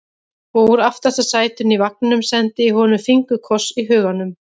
Og úr aftasta sætinu í vagninum sendi ég honum fingurkoss í huganum.